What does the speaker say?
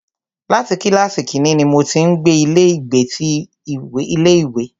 Láti kílàsì kínní ní mo ti ń gbé ilé ìgbé ti ilé ìwé.